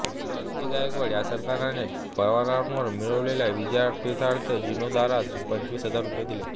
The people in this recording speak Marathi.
दमाजी गायकवाड या सरदाराने पवारांवर मिळविलेल्या विजयाप्रीत्यर्थ जीर्णोद्धारास पंचवीस हजार रुपये दिले